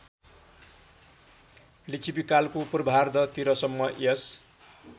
लिच्छविकालको पूर्वार्धतिरसम्म यस